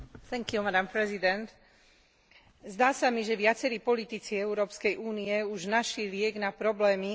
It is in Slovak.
Zdá sa mi, že viacerí politici Európskej únie už našli liek na problémy, ktoré dnes trápia členské štáty.